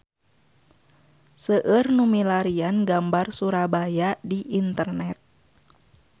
Seueur nu milarian gambar Surabaya di internet